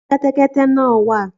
Níbo ni kẹ́tẹ́kẹ́tẹ́ náà wà?